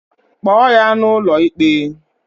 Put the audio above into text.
Kpoo ya n'ụlọikpe!